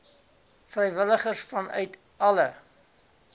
vrywilligers vanuit alle